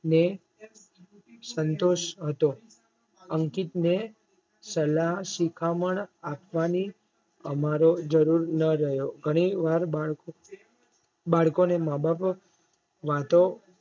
ને સંતોષ હતો. અંકિતને સલાહ શિખામણ આપવાની અમારે જરૂર ન રહ્યો ધણી વાર બાળકો ને માબાપ વાતો